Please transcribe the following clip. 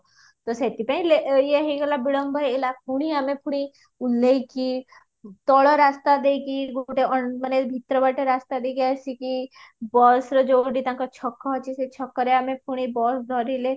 ତ ସେଥିପାଇଁ ଇଏ ହେଇଗଲା ବିଳମ୍ବ ହେଇଗଲା ଫୁଣି ଆମେ ଫୁଣି ନେଇକି ତଳ ରାସ୍ତା ଦେଇକି ଗୋଟେ ମାନେ ଭିତର ବାଟେ ରାସ୍ତା ଦେଇକି ଆସିକି busର ଯୋଉଠି ତାଙ୍କ ଛକ ଅଛି ସେଇ ଛକରେ ଆମେ ଫୁଣି bus ଧରିଲେ